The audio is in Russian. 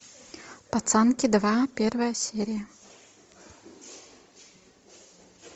пацанки два первая серия